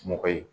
Mɔgɔ ye